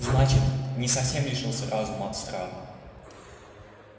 значит не совсем лишился разума от страха